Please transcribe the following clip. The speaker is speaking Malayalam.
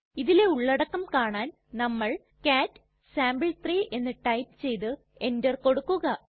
ഇതിലെ ഉള്ളടക്കം കാണാൻ നമ്മൾ കാട്ട് സാംപിൾ3 എന്ന് ടൈപ്പ് ചെയ്തു എന്റർ കൊടുക്കുക